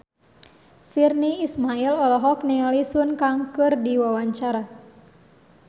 Virnie Ismail olohok ningali Sun Kang keur diwawancara